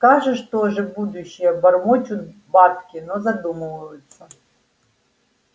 скажешь тоже будущее бормочут бабки но задумываются